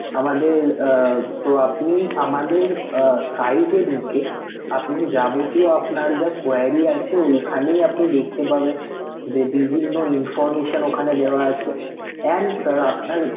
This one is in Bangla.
আমাদের আহ তো আপনি আমাদের আহ site এ ঢুকে আপনি যাবতীয় আপনার যা query আছে ওইখানেই আপনি দেখতে পাবেন, যে বিভিন্ন information ওখানে দেওয়া আছে and sir আপনার